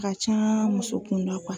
ka can muso kunda